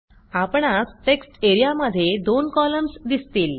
आपणास टेक्स्ट एरियामध्ये दोन कॉलम्स दिसतील